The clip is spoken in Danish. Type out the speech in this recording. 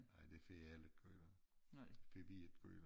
Ej det for jeg heller gjort det vil jeg gøre